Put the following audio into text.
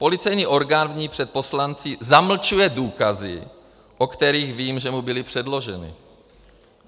Policejní orgán v ní před poslanci zamlčuje důkazy, o kterých vím, že mu byly předloženy.